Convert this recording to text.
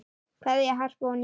Kveðja, Harpa og Nína.